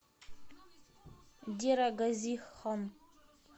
дера гази хан